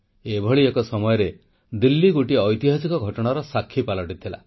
ଏଭଳି ଏକ ସମୟରେ ଦିଲ୍ଲୀ ଗୋଟିଏ ଐତିହାସିକ ଘଟଣାର ସାକ୍ଷୀ ପାଲଟିଯାଇଥିଲା